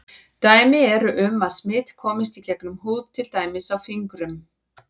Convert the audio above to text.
Dæmi eru um að smit komist í gegnum húð til dæmis á fingrum.